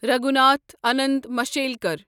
Raghunath Anant Mashelkar